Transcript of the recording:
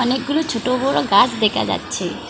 অনেকগুলি ছোট বড় গাছ দেখা যাচ্ছে।